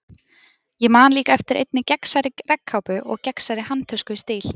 Ég man líka eftir einni gegnsærri regnkápu og gegnsærri handtösku í stíl.